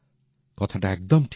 কথাটা একদম ঠিক